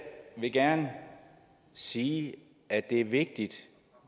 vil gerne sige at det er vigtigt